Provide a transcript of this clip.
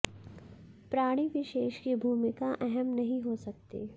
प्राणी विशेष की भूमिका अहम नहीं हो सकती